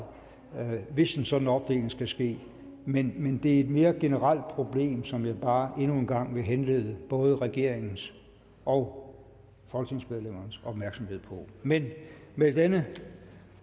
hvis en sådan opdeling skal ske men det er et mere generelt problem som jeg bare endnu en gang vil henlede både regeringens og folketingsmedlemmernes opmærksomhed på men med denne